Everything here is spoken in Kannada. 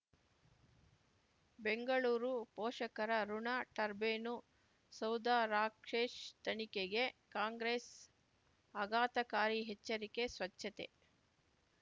ಬೆಂಗಳೂರು ಪೋಷಕರಋಣ ಟರ್ಬೈನು ಸೌಧ ರಾಕ್ಕ್ಷೇ ತನಿಖೆಗೆ ಕಾಂಗ್ರೆಸ್ ಆಘಾತಕಾರಿ ಎಚ್ಚರಿಕೆ ಸ್ವಚ್ಛತೆ